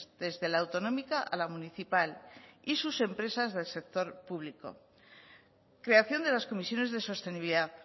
desde la autonómica a la municipal y sus empresas del sector público creación de las comisiones de sostenibilidad